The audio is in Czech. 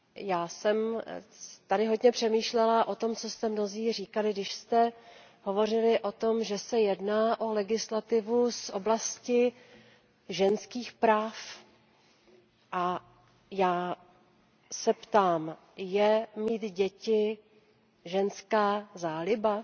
Já jsem tady hodně přemýšlela o tom, co jste mnozí říkali, když jste hovořili o tom, že se jedná o legislativu z oblasti ženských práv. Já se ptám Je mít děti ženská záliba?